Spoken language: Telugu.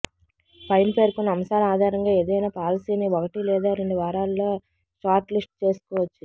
పైన పేర్కొన్న అంశాల ఆధారంగా ఏదైనా పాలసీని ఒకటి లేదా రెండు వారాల్లో షార్ట్ లిస్ట్ చేసుకోవచ్చు